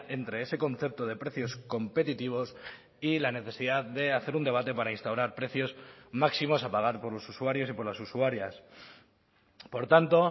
entre ese concepto de precios competitivos y la necesidad de hacer un debate para instaurar precios máximos a pagar por los usuarios y por las usuarias por tanto